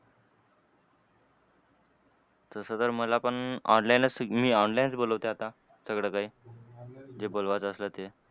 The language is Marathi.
तसं तर मला पण online ला मी online च बोलवतोय आता. सगळं काही . जे बोलवत असलं ते.